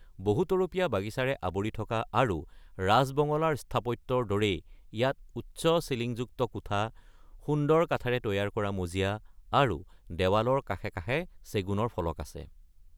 বহুতৰপীয়া বাগিচাৰে আৱৰি থকা আৰু ৰাজ বঙলা ৰ স্থাপত্যৰ দৰেই ইয়াত উচ্চ চিলিংযুক্ত কোঠা, সুন্দৰ কাঠেৰে তৈয়াৰ কৰা মজিয়া আৰু দেৱালৰ কাষে কাষে চেগুনৰ ফলক আছে।